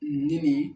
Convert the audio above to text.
Nin nin